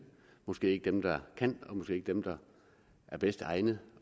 måske ikke dem der kan og måske ikke dem der er bedst egnet